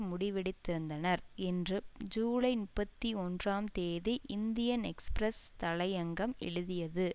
முடிவெடுத்திருந்தனர் என்று ஜூலை முப்பத்தி ஒன்றாம் தேதி இந்தியன் எக்ஸ்பிரஸ் தலையங்கம் எழுதியது